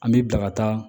An b'i bila ka taa